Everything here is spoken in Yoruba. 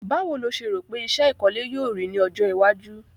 Báwo lo se rò pe isẹ́ ìkọ́lé yio rí ni ojó iwájú